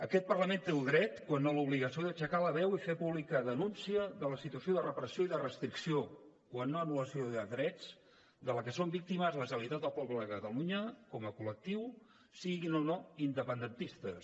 aquest parlament té el dret quan no l’obligació d’aixecar la veu i fer pública denúncia de la situació de repressió i de restricció quan no d’anul·lació de drets de què és víctima la generalitat del poble de catalunya com a col·lectiu siguin o no independentistes